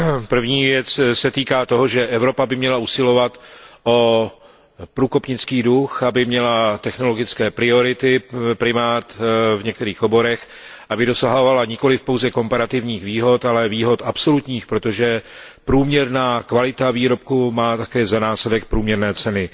První se týká toho, že Evropa by měla usilovat o průkopnický duch, aby měla technologické priority, primát v některých oborech, aby dosahovala nikoliv pouze komparativních výhod, ale i výhod absolutních, protože průměrná kvalita výrobku má také za následek průměrné ceny.